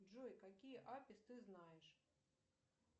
джой какие апис ты знаешь